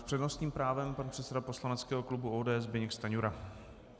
S přednostním právem pan předseda poslaneckého klubu ODS Zbyněk Stanjura.